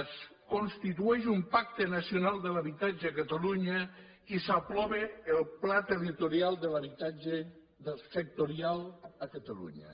es constitueix un pacte nacional de l’habitatge a catalunya i s’aprova el pla territorial de l’habitatge del sectorial a catalunya